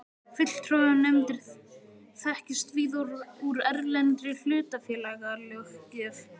Fulltrúanefndir þekkjast víða úr erlendri hlutafélagalöggjöf.